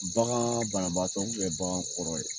Bagan banabaatɔ bagan kɔrɔ ye.